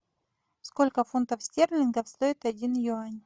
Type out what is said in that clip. сколько фунтов стерлингов стоит один юань